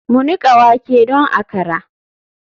Mu nika wake don akra.